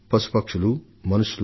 పశువులు పక్షులు లేదా మానవులు